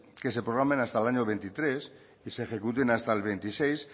que se programen hasta el año veintitrés y se ejecuten hasta el veintiséis